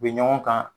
U bɛ ɲɔgɔn kan